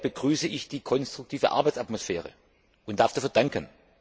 Umso mehr begrüße ich die konstruktive Arbeitsatmosphäre und darf dafür danken.